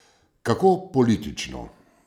Kako politično!